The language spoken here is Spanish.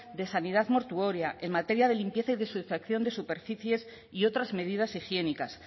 de sanidad mortuoria en materia de limpieza y desinfección de superficies y otras medidas higiénicas